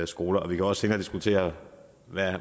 skoler vi kan også senere diskutere